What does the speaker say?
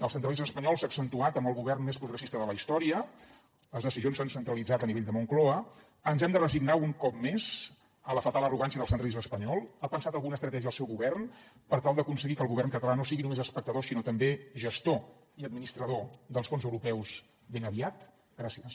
el centralisme espanyol s’ha accentuat amb el govern més progressista de la història les decisions s’han centralitzat a nivell de la moncloa ens hem de resignar un cop més a la fatal arrogància del centralisme espanyol ha pensat alguna estratègia el seu govern per tal d’aconseguir que el govern català no sigui només espectador sinó també gestor i administrador dels fons europeus ben aviat gràcies